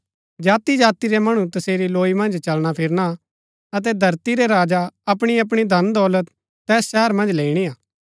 जाति जाति रै मणु तसेरी लौई मन्ज चलना फिरना अतै धरती रै राजा अपणी अपणी धन दौलत तैस शहरा मन्ज लैईणी हा